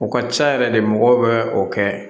U ka ca yɛrɛ de mɔgɔw bɛ o kɛ